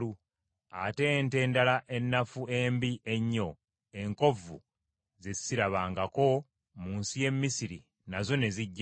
ate ente endala ennafu embi ennyo enkovvu ze sirabangako mu nsi y’e Misiri nazo ne zijja.